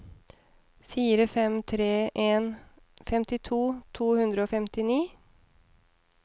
fire fem tre en femtito to hundre og femtini